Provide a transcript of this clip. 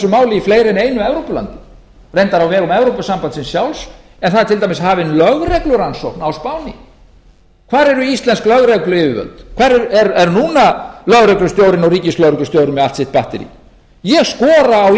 máli í fleiri en einu evrópulandi reyndar á vegum evrópusambandsins sjálfs en það er til dæmis hafin lögreglurannsókn á spáni hvar eru íslensk lögregluyfirvöld hvar er núna lögreglustjórinn og ríkislögreglustjórinn með allt sitt batterí ég skora á